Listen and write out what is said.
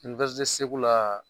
Segu la